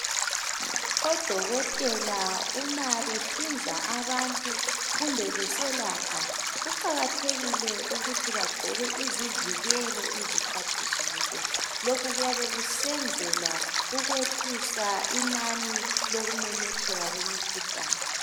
Odokotela uma behlinza abantu kumbe beselapha kuqakathekile ukuthi bagqoke izivikelo izikhathi zonke. Lokhu kuyabe kusenzelwa ukwehlisa inani lokumemetheka kwemikhuhlane.